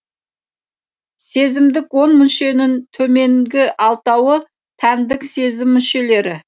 сезімдік он мүшенің төменгі алтауы тәндік сезім мүшелері